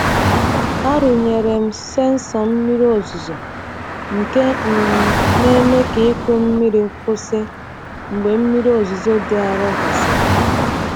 Arụnyere m sensọ mmiri ozuzo nke um na-eme ka ịkụ mmiri kwụsị mgbe mmiri ozuzo dị arọ gasịrị.